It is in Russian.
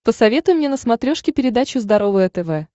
посоветуй мне на смотрешке передачу здоровое тв